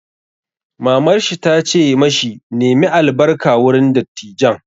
Mamar shi ta ce ma shi 'Nemi albarka wurin dattijan'!